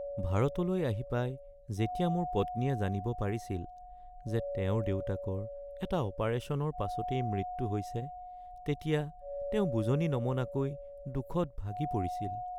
ভাৰতলৈ আহি পাই যেতিয়া মোৰ পত্নীয়ে জানিব পাৰিছিল যে তেওঁৰ দেউতাকৰ এটা অপাৰেশ্যনৰ পাছতেই মৃত্যু হৈছে তেতিয়া তেওঁ বুজনি নমনাকৈ দুখত ভাগি পৰিছিল।